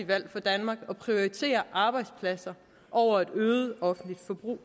valg for danmark at prioritere arbejdspladser over et øget offentligt forbrug